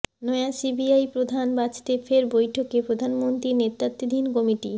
নয়া সিবিআই প্রধান বাছতে ফের বৈঠকে প্রধানমন্ত্রীর নেতৃত্বাধীন কমিটি